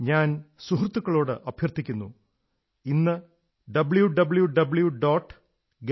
ഞാൻ സുഹൃത്തുക്കളോട് അഭ്യർഥിക്കുന്നു ഇന്ന് www